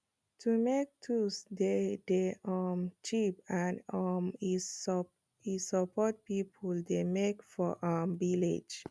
to make tools dey dey um cheap and um e support people wey make for um villages